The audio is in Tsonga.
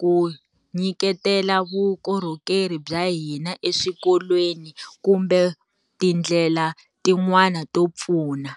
ku nyiketela vukorhokeri bya hina eswikolweni kumbe ti ndlela tin'wana to pfuna.